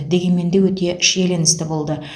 дегенмен де өте шиеленісті болды